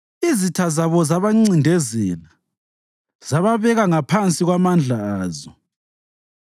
Izitha zabo zabancindezela zababeka ngaphansi kwamandla azo.